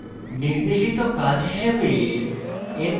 নির্দেশিত কাজ হিসাবে